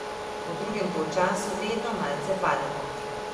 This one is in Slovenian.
V drugem polčasu vedno malce pademo.